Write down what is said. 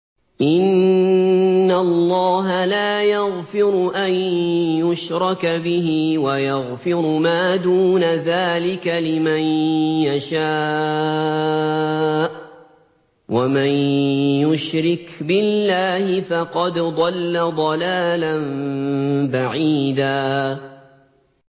إِنَّ اللَّهَ لَا يَغْفِرُ أَن يُشْرَكَ بِهِ وَيَغْفِرُ مَا دُونَ ذَٰلِكَ لِمَن يَشَاءُ ۚ وَمَن يُشْرِكْ بِاللَّهِ فَقَدْ ضَلَّ ضَلَالًا بَعِيدًا